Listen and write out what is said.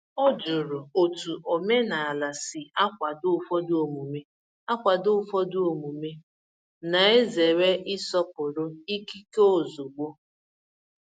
O jụrụ otu omenala si akwado ụfọdụ omume, akwado ụfọdụ omume, na-ezere ịsọpụrụ ikike ozugbo.